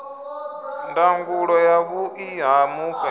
ndangulo ya vhuḓi ha mufhe